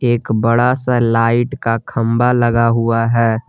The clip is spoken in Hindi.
एक बड़ा सा लाइट का खंभा लगा हुआ है।